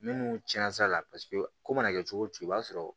Minnu tiɲɛna sa ko mana kɛ cogo o cogo i b'a sɔrɔ